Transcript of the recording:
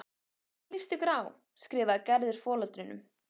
Hvernig líst ykkur á? skrifar Gerður foreldrunum.